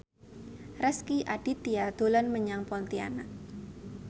Rezky Aditya dolan menyang Pontianak